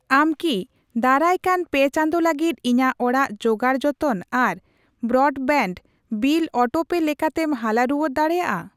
ᱟᱢ ᱠᱤ ᱫᱟᱨᱟᱭᱠᱟᱱ ᱯᱮ ᱪᱟᱸᱫᱳ ᱞᱟᱹᱜᱤᱫ ᱤᱧᱟᱜ ᱚᱲᱟᱜ ᱡᱳᱜᱟᱲᱡᱚᱛᱚᱱ ᱟᱨ ᱵᱨᱚᱰᱵᱮᱣᱰ ᱵᱤᱞ ᱚᱴᱳᱯᱮ ᱞᱮᱠᱟᱛᱮᱢ ᱦᱟᱞᱟ ᱨᱩᱣᱟᱹᱲ ᱫᱟᱲᱮᱭᱟᱜᱼᱟ ?